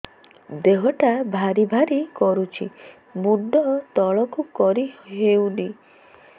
ଦେହଟା ଭାରି ଭାରି କରୁଛି ମୁଣ୍ଡ ତଳକୁ କରି ହେଉନି